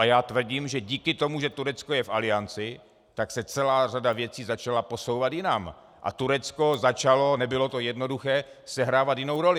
A já tvrdím, že díky tomu, že Turecko je v Alianci, tak se celá řada věcí začala posouvat jinam a Turecko začalo, nebylo to jednoduché, sehrávat jinou roli.